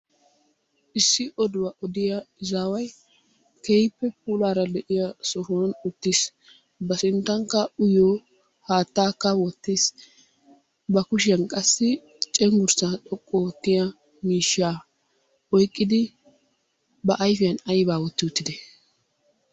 Issi oduwa odiyaa izaway keehippe puulara de'iyaa sohuwa uttiis. Ba sinttankka uyyiyo haatakka wottiis. Ba kushshiyaan qassi cengʻgurssa mishsha oyqqidi , ba ayfiuaan aybba oyqqidi uttide?